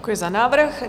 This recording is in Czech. Děkuji za návrh.